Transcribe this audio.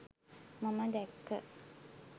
මම දැක්ක.